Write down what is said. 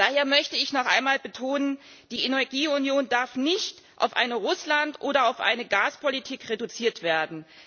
Daher möchte ich noch einmal betonen Die Energieunion darf nicht auf eine Russland oder auf eine Gaspolitik reduziert werden.